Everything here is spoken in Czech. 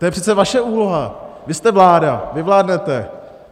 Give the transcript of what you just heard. To je přece vaše úloha, vy jste vláda, vy vládnete.